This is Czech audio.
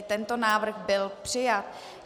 I tento návrh byl přijat.